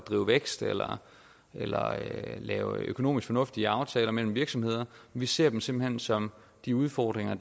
drive vækst eller eller lave økonomisk fornuftige aftaler mellem virksomheder vi ser dem simpelt hen som de udfordringer